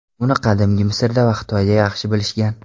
Uni qadimgi Misrda va Xitoyda yaxshi bilishgan.